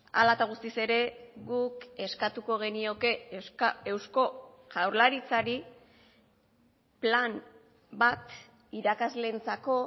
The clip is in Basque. ala eta guztiz ere guk eskatuko genioke eusko jaurlaritzari plan bat irakasleentzako